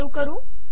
save करू